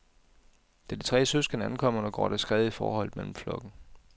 Da de tre søskende ankommer, går der skred i forholdet mellem flokken.